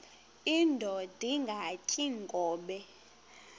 indod ingaty iinkobe